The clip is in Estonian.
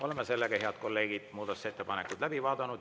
Oleme sellega, head kolleegid, muudatusettepanekud läbi vaadanud.